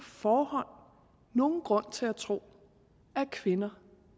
forhånd nogen grund til at tro at kvinder